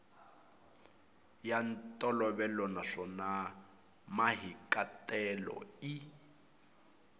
ya ntolovelo naswona mahikahatelo i